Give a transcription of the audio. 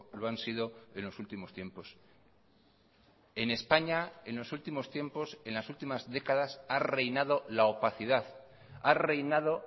lo han sido en los últimos tiempos en españa en los últimos tiempos en las últimas décadas ha reinado la opacidad ha reinado